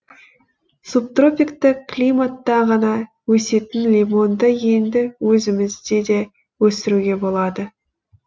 субтропиктік климатта ғана өсетін лимонды енді өзімізде де өсіруге болады